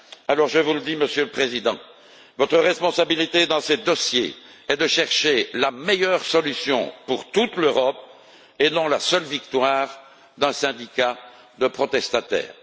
Alors je vous le dis, Monsieur le Président, votre responsabilité dans ces dossiers est de chercher la meilleure solution pour toute l'Europe, et non la seule victoire d'un syndicat de protestataires.